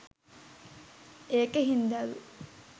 ඒක හින්දලු